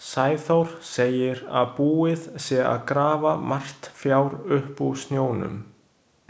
Sæþór segir að búið sé að grafa margt fjár upp úr snjónum.